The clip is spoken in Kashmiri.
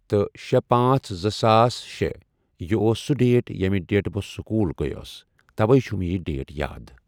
تہٕ شیٚے پانژھ زٕ ساس شیےٚ یہِ اوس سُہ ڈیٹ ییٚمہِ ڈیٹ بہٕ سکوٗل گٔیوس توے چھ مےٚ یہِ ڈیٹ یاد۔